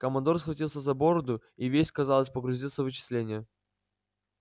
командор схватился за бороду и весь казалось погрузился в вычисления